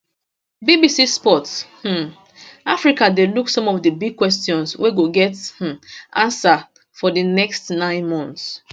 bbc sport um africa dey look some of di big questions wey go get um answer for di next nine months